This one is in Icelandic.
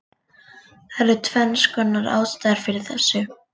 Það eru tvennskonar ástæður fyrir þessu: